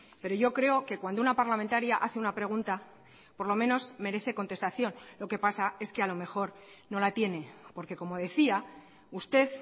pero yo creo que cuando una parlamentaria hace una pregunta por lo menos merece contestación lo que pasa es que a lo mejor no la tiene porque como decía usted